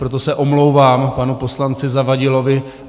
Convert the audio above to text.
Proto se omlouvám panu poslanci Zavadilovi.